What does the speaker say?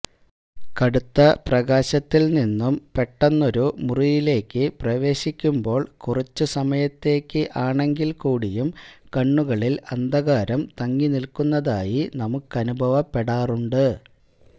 കടുത്ത പ്രകാശത്തിൻ നിന്നു പെട്ടെന്നൊരു മുറിയിലേക്ക് പ്രവേശിക്കുമ്പോൾ കുറച്ച് സമയത്തേക്ക് ആണെങ്കിൽ കൂടിയും കണ്ണുകളിൽ അന്ധകാരം തങ്ങിനിൽക്കുന്നതായി നമ്മുക്കനുഭവപ്പെടാറുണ്ട്